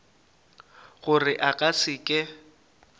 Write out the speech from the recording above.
gore a ka se ke